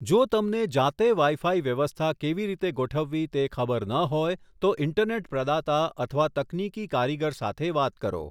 જો તમને જાતે વાઈ ફાઈ વ્યવસ્થા કેવી રીતે ગોઠવવી તે ખબર ન હોય તો ઇન્ટરનેટ પ્રદાતા અથવા તકનીકી કારીગર સાથે વાત કરો.